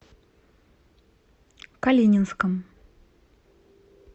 калининском